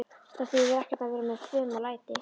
Það þýðir ekkert að vera með fum og læti.